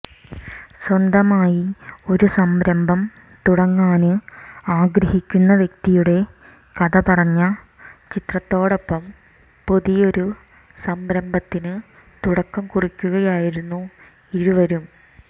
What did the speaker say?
സ്വന്തമായി ഒരു സംരഭം തുടങ്ങാന് ആഗ്രഹിക്കുന്ന വ്യക്തിയുടെ കഥ പറഞ്ഞ ചിത്രത്തോടൊപ്പം പുതിയൊരു സംരംഭത്തിന് തുടക്കം കുറിക്കുകയായിരുന്നു ഇരുവരും